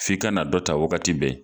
F'i ka na dɔ ta wagati bɛɛ